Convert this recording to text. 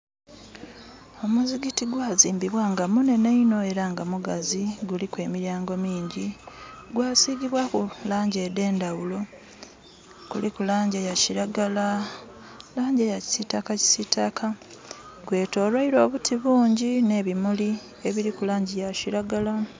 Omuzikiti gwazimbibwa nga munhenhe inho era nga mugazi, guliku emilyango mingi. Gwa sigibwaaku laangi edh'endhaghulo. Kuliku laangi eya kiragala, laangi eya kisiitaka kisiitaka. Gwetoloirwa obuti bungyi nh'ebimuli, obuliku laangi eya kiragala